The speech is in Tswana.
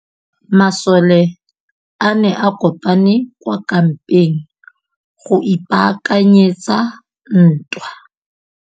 Masole a ne a kopane kwa kampeng go ipaakanyetsa ntwa.